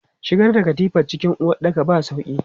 Shigar da katifa cikin uwaɗɗaka ba sauƙi.